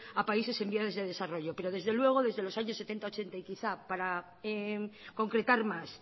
a países en vías de desarrollo pero desde luego desde los años mil novecientos setenta mil novecientos ochenta y quizá para concretar más